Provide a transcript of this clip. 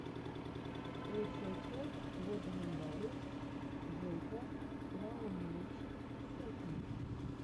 лучшая часть лэджендари жека лайнэйдж сэконд